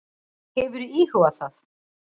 Hefurðu íhugað það?